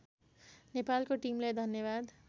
नेपालको टिमलाई धन्यवाद